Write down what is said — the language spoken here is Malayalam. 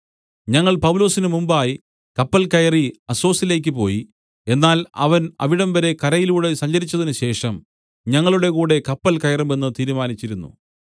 ഞങ്ങൾ പൗലൊസിന് മുമ്പായി കപ്പൽ കയറി അസ്സൊസിലേക്ക് പോയി എന്നാൽ അവൻ അവിടംവരെ കരയിലൂടെ സഞ്ചരിച്ചതിനുശേഷം ഞങ്ങളുടെകൂടെ കപ്പൽ കയറുമെന്ന് തീരുമാനിച്ചിരുന്നു